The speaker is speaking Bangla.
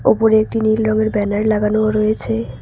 ওপরে একটি নীল রঙের ব্যানার লাগানো রয়েছে।